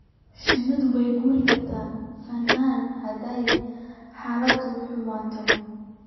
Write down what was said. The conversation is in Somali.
Shinnidu way ka guuri kartaa finan haddii xaaladdu xumaato.